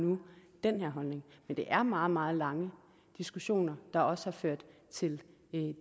nu den her holdning men det er meget meget lange diskussioner der også har ført til